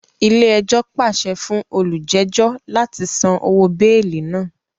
Ilé-ẹjọ́ pàṣẹ fún olujejo láti sàn òwò beeli náà